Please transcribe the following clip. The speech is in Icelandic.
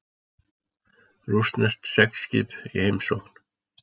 Rússneskt seglskip í heimsókn